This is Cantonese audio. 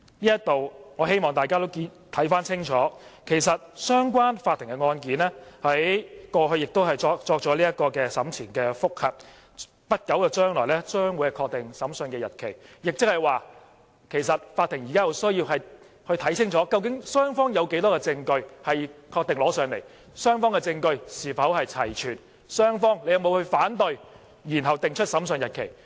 就此，我希望大家都看清楚，相關法庭的案件，其實過去亦已作出審前覆核，將在不久將來確定審訊日期，即法庭現在有需要看清禁，究竟雙方有多少證據確定呈交、雙方證據是否齊全、雙方有沒有反對，然後定出審訊日期。